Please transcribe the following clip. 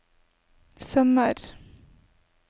sømmer